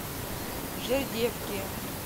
жердевки